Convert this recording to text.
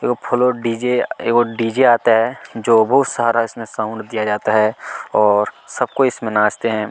एगो फूलों डीजे एगो डीजे आता हैं जो बहुत सारा साउंड इसमे साउन्ड दिया जाता है और सब कोई इसमें नाचते हैं।